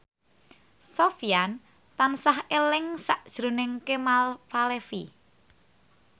Sofyan tansah eling sakjroning Kemal Palevi